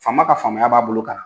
Faama ka faamaya b'a bolo kan